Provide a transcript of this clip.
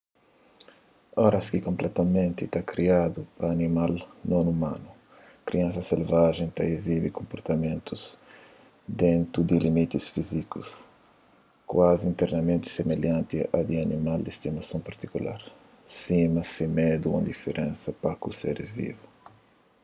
oras ki konpletamenti kriadu pa animal non umanu kriansa selvajen ta izibi konportamentus dentu di limiti fízikus kuazi interamenti similhanti a di animal di stimason partikular sima se medu ô indiferensa pa ku seris vivu